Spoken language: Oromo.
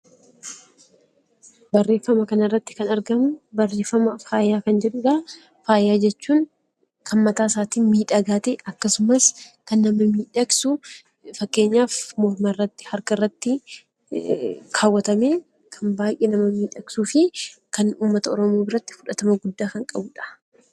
Barreeffama kanarratti kan argamu barreeffama faaya kan jedhudhaa. Faaya jechuun kan mataasaatiin miidhagaa ta'e akkasumas kan nama miidhagsu fakkeenyaaf mormarratti, harkarratti kaawwatamee kan baay'ee nama miidhagsuu fi kan uummata Oromoo biratti fudhatama guddaa kan qabudha.